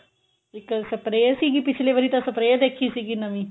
ਇੱਕ spray ਸੀਗੀ ਪਿਛਲੀ ਵਾਰੀ ਤਾਂ spray ਦੇਖੀ ਸੀਗੀ ਨਵੀਂ